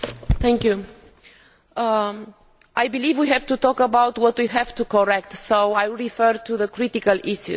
Madam President, I believe we have to talk about what we need to correct, so I will refer to the critical issues.